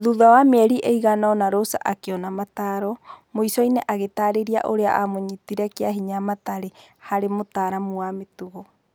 Thutha wa mĩeri ĩigana-ũna Rosa akĩona mataro, mũicoinĩ agĩtariria ũrĩa amũnyiti kĩahinya matariĩ harĩ mũtaramu wa mĩtugo.